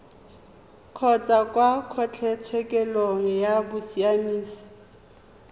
kgotsa kwa kgotlatshekelo ya bosiamisi